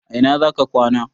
A ina za ka kwana?